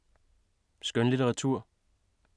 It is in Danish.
Skønlitteratur